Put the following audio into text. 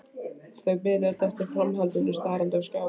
Þau biðu öll eftir framhaldinu starandi á skjáinn.